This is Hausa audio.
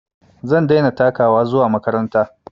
Zan daina takawa zuwa makaranta